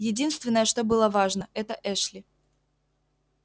единственное что было важно это эшли